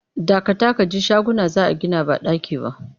Dakata ka ji shaguna za a gina ba ɗaki ba!